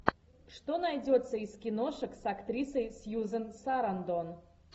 что найдется из киношек с актрисой сьюзен сарандон